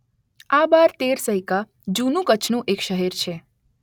આ બાર તેર સૈકા જૂનું કચ્છનું એક શહેર છે.